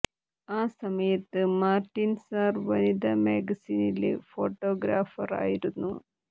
ആ സമയത്ത് Martin sir വനിത മാഗസിനില് ഫോട്ടോഗ്രാഫര് ആയിരുന്നു